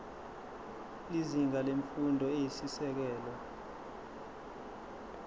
izinga lemfundo eyisisekelo